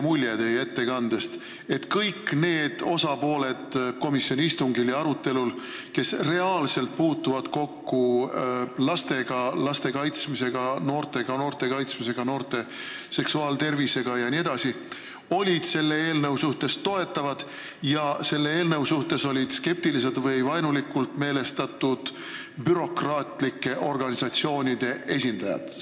Mulle jäi teie ettekandest mulje, et kõik need komisjoni istungil osalenud osapooled, kes laste ja noortega, nende kaitsmisega, noorte seksuaaltervisega jne reaalselt kokku puutuvad, olid selle eelnõu suhtes toetaval seisukohal ja skeptilised või vaenulikult meelestatud olid bürokraatlike organisatsioonide esindajad.